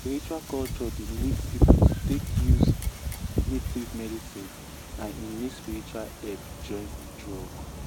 spiritual culture dey lead people to take use native medicine and e need spiritual help join drug.